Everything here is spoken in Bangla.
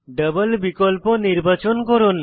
ডাবল বিকল্প নির্বাচন করুন